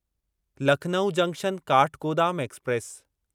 Lucknow junction Kathgodam express